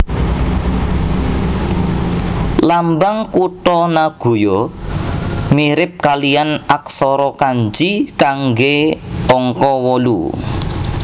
Lambang kutha Nagoya mirip kalihan aksara kanji kanggé angka wolu